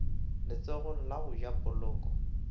letsogong la go ja poloko